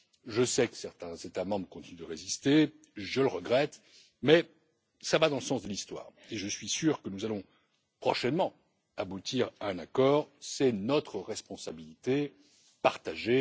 Je sais que certains États membres continuent de résister, je le regrette, mais cela va dans le sens de l'histoire, et je suis sûr que nous allons prochainement aboutir à un accord, c'est notre responsabilité partagée.